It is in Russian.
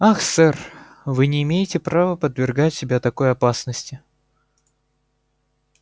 ах сэр вы не имеете права подвергать себя такой опасности